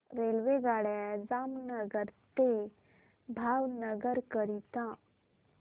रेल्वेगाड्या जामनगर ते भावनगर करीता